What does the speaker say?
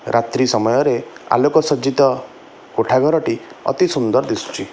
ରାତ୍ରୀ ସମୟରେ ଆଲୋକ ସଜ୍ଜିତ କୋଠାଘରଟି ଅତି ସୁନ୍ଦର ଦିଶୁଚି ।